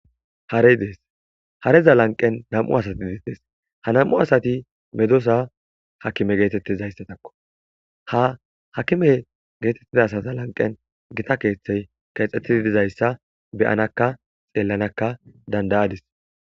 Harey dees hareza lanqen dam'u asati didees ha nam'u asati medosa hakime geetettizayssatakko ha hakime geetettida sata lanqen gita keeththey keexxettidi dizayssa beyanakka xeellanakka dandayadis.